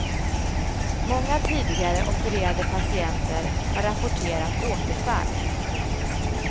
Många tidigare opererade patienter har rapporterat återfall.